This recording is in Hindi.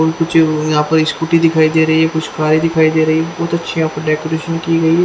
और कुछ यहां पर स्कूटी दिखाई दे रही है कुछ कारे दिखाई दे रही है बहुत अच्छी यहां पे डेकोरेशन की गई है।